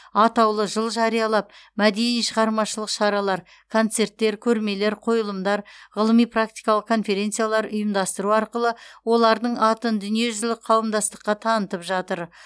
атаулы жыл жариялап мәдени шығармашылық шаралар концерттер көрмелер қойылымдар ғылыми практикалық конференциялар ұйымдастыру арқылы олардың атын дүниежүзілік қауымдастыққа танытып жатыр